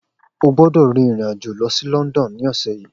O gbọ́dọ̀ rin ìrìn-àjò lọ sí London ní ọ̀sẹ̀ yìí